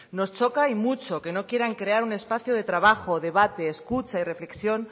nos choca y mucho que no quieran crear un espacio de trabajo debate escucha y reflexión